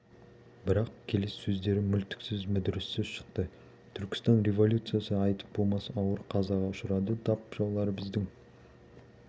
бірақ келесі сөздері мүлтіксіз мүдіріссіз шықты түркістан революциясы айтып болмас ауыр қазаға ұшырады тап жаулары біздің